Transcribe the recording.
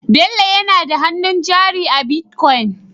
Bello nada hannun jari a bitcoin